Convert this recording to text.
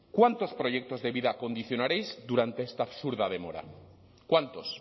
cuántos proyectos de vida condicionareis durante esta absurda demora cuántos